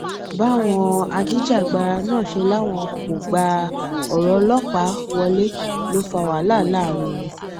báwọn ajìjàgbara náà ṣe láwọn kò gba ọrọ ọlọpàá wọlé ló fa wàhálà láàrin wọn